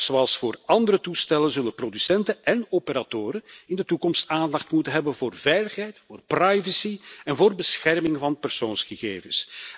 Net zoals voor andere toestellen zullen producenten en operatoren in de toekomst aandacht moeten hebben voor veiligheid, privacy en bescherming van persoonsgegevens.